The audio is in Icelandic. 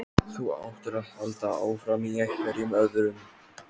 Þú áttir að halda áfram, í einhverjum öðrum.